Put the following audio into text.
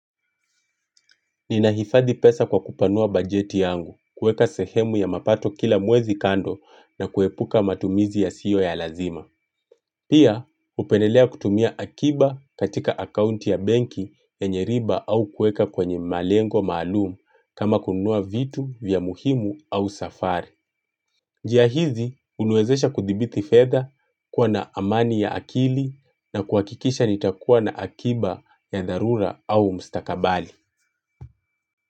Ninahifadhi pesa kwa kupanua bajeti yangu, kuweka sehemu ya mapato kila mwezi kando na kuepuka matumizi yasiyo ya lazima. Pia, hupendelea kutumia akiba katika akaunti ya benki yenye riba au kuweka kwenye malengo maalumu kama kununua vitu vya muhimu au safari. Njia hizi, huniwezesha kuthibiti fedha, kuwa na amani ya akili na kuhakikisha nitakuwa na akiba ya dharura au mstakabali.